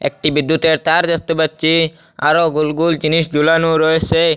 একটি বিদ্যুতের তার দেখতে পাচ্ছি আরো গোল গোল জিনিস ঝুলানো রয়েসে।